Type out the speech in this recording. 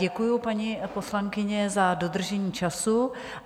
Děkuji, paní poslankyně, za dodržení času.